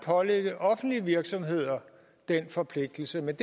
pålægge offentlige virksomheder den forpligtelse men